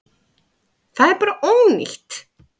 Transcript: Það er bara ónýtt.